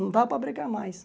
Não dava para brecar mais.